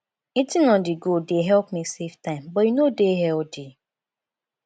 eating onthego dey help me save time but e no dey healthy